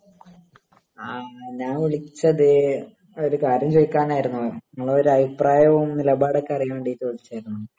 ങാ .. ഞാൻ വിളിച്ചത് ഒരു കാര്യം ചോദിക്കാനായിരുന്നു. നിങ്ങളുടെ ഒരു അഭിപ്രായവും നിലപാടുമൊക്കെ അറിയാൻ വേണ്ടിട്ട് വിളിചേണ്